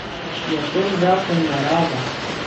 Je to zakon narave?